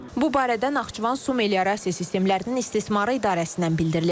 Bu barədə Naxçıvan su meliorasiya sistemlərinin istismarı idarəsindən bildirilib.